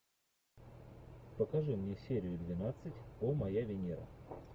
покажи мне серию двенадцать о моя венера